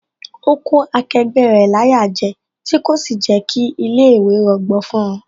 Ó kó akẹgbẹ́ rẹ̀ láyà jẹ, tí kò sì jẹ́ kí ilé ìwé rọgbọ fún wón